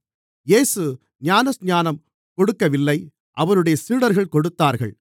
இயேசு ஞானஸ்நானம் கொடுக்கவில்லை அவருடைய சீடர்கள் கொடுத்தார்கள்